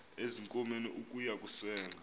ezinkomeni ukuya kusenga